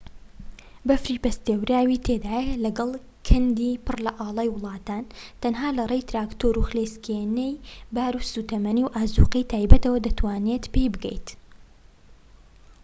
بەفری پەستێوراوی تێدایە لەگەڵ کەندی پڕ لە ئاڵای وڵاتان تەنها لەڕێی تراکتۆر و خلیسکێنەی بار و سوتەمەنی و ئازوقەی تایبەتیەوە دەتوانیت پێی بگەیت